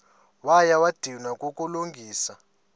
wakha wadinwa kukulungisa